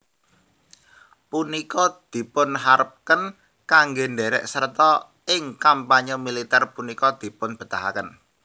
Punika dipunharepken kangge derek serta ing kampanye militer punika dipunbetahaken